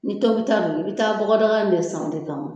Ni tobita don i bɛ taa bɔgɔdaga in de san o de kama